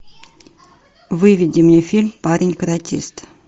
выведи мне фильм парень каратист